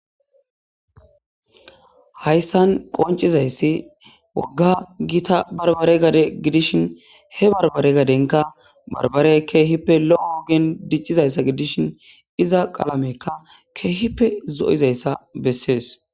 Haysan qoncizays woga gita barbare gade gidishi he barbare gadenka barbarey kehipe lo'o ogen dicizaysa gidishin iza qalameyka kehipe zo'izaysa beses